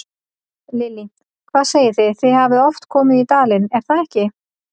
Lillý: Hvað segið þið, þið hafið oft komið í dalinn, er það ekki?